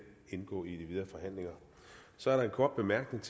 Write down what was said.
indgå i de videre forhandlinger så er der en kort bemærkning